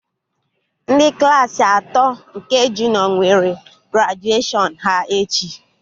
Ndị Klassị atọ nke junịọ nwere grajuashọn ha echi